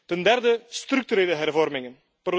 Ten derde structurele hervormingen.